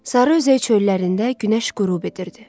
Sarı özək çöllərində günəş qürub edirdi.